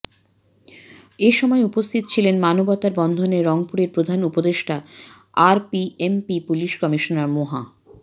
এ সময় উপস্থিত ছিলেন মানবতার বন্ধনে রংপুরের প্রধান উপদেষ্টা আরপিএমপি পুলিশ কমিশনার মোহা